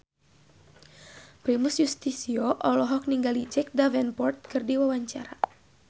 Primus Yustisio olohok ningali Jack Davenport keur diwawancara